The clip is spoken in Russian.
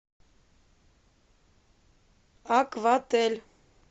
акватель